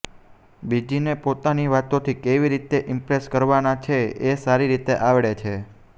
બીજીને પોતાની વાતોથી કેવી રીતે ઇમ્પ્રેસ કરવાને છે એ સારી રીતે આવડે છે